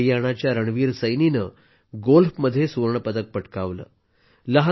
हरियाणाच्या रणवीर सैनीने गोल्फमध्ये सुवर्णपदक पटकावले आहे